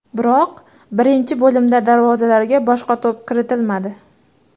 Biroq birinchi bo‘limda darvozalarga boshqa to‘p kiritilmadi.